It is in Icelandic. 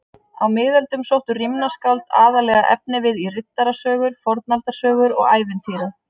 Á miðöldum sóttu rímnaskáld aðallega efnivið í riddarasögur, fornaldarsögur og ævintýri.